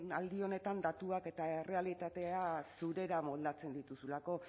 aldi honetan datuak eta errealitatea zurera moldatzen dituzulako